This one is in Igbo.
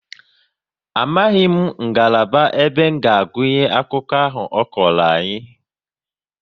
Amaghị ngalaba ebe nga agụnye akụkọ ahụ ọ kọrọ anyị